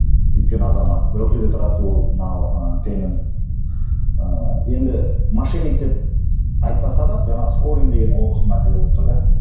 өйткені азамат берклиде тұрады ол мынау ыыы пейменд ыыы енді мошенник деп айтпаса да жаңа скорин ол осы мәселе болып тұр да